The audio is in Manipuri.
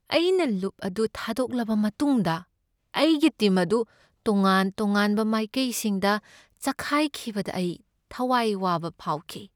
ꯑꯩꯅ ꯂꯨꯞ ꯑꯗꯨ ꯊꯥꯗꯣꯛꯂꯕ ꯃꯇꯨꯡꯗ ꯑꯩꯒꯤ ꯇꯤꯝ ꯑꯗꯨ ꯇꯣꯉꯥꯟ ꯇꯣꯉꯥꯟꯕ ꯃꯥꯏꯀꯩꯁꯤꯡꯗ ꯆꯈꯥꯏꯈꯤꯕꯗ ꯑꯩ ꯊꯋꯥꯏ ꯋꯥꯕ ꯐꯥꯎꯈꯤ꯫